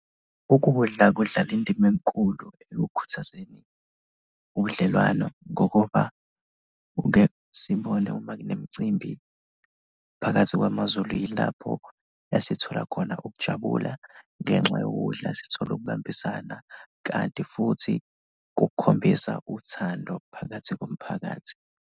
Ukudla kudlala indima enkulu ekukhuthazeni ubudlelwano ngokuba kuke sibone uma kunemicimbi phakathi kwamaZulu, yilapho esithola khona ukujabula ngenxa yokudla, sithole ukubambisana kanti futhi kukhombisa uthando phakathi komphakathi.